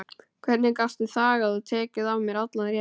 Hvernig gastu þagað og tekið af mér allan rétt?